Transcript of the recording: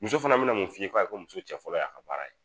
Muso fɛnɛ be na mun f'i ye ko ayi ko muso cɛ fɔlɔ y'a ka baara ye